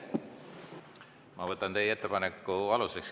Ma võtan teie ettepaneku aluseks.